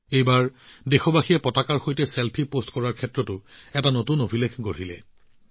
এইবাৰ দেশবাসীয়ে ত্ৰিৰংগাৰ সৈতে ছেলফি পোষ্ট কৰাৰ নতুন অভিলেখ গঢ়ি তুলিছে